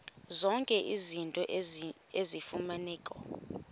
zonke izinto eziyimfuneko